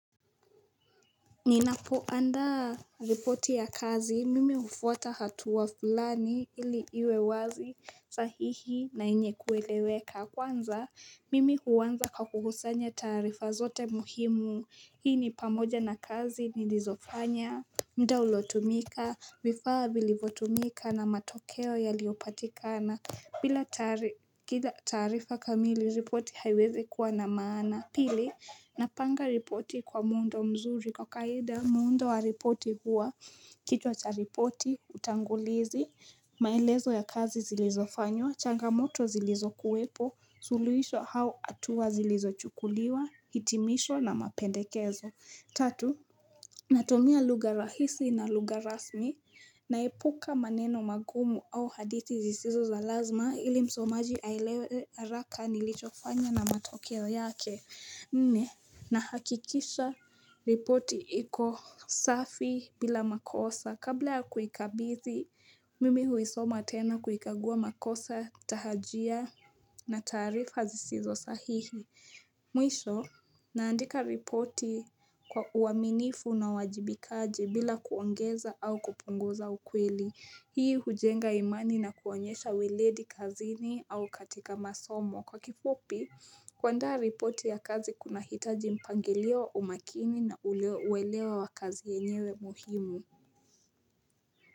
Ninapo andaa ripoti ya kazi mimi hufuata hatua fulani ili iwe wazi sahihi na yenye kueleweka kwanza mimi huanza kwa kukusanya taarifa zote muhimu hii ni pamoja na kazi nilizofanya muda uliotumika vifaa vilivotumika na matokeo yaliopatikana bila taarifa kamili ripoti haiwezi kuwa na maana Pili, napanga ripoti kwa muundo mzuri kwa kawaida, muundo wa ripoti huwa, kichwa cha ripoti, utangulizi, maelezo ya kazi zilizofanywa, changamoto zilizokuwepo, suluhisho au hatua zilizochukuliwa, hitimisho na mapendekezo. Tatu, natumia lugha rahisi na lugha rasmi na epuka maneno magumu au hadithi zisizo za lazima ili msomaji aelewe haraka nilicho fanya na matokeo yake. Nne, nahakikisha ripoti iko safi bila makosa kabla ya kuikabizi, mimi huisoma tena kuikagua makosa tahajia na taarifa zisizo sahihi. Mwisho, naandika ripoti kwa uaminifu na uwajibikaji bila kuongeza au kupunguza ukweli Hii hujenga imani na kuonyesha uweredi kazini au katika masomo Kwa kifupi, kuanda ripoti ya kazi kuna hitaji mpangilio umakini na uelewa wa kazi yenyewe muhimu.